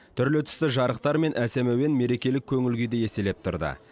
түрлі түсті жарықтар мен әсем әуен мерекелік көңіл күйді еселеп тұрды